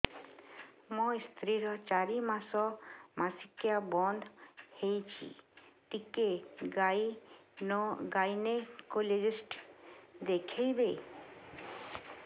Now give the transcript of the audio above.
ମୋ ସ୍ତ୍ରୀ ର ଚାରି ମାସ ମାସିକିଆ ବନ୍ଦ ହେଇଛି ଟିକେ ଗାଇନେକୋଲୋଜିଷ୍ଟ ଦେଖେଇବି